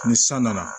Ni san nana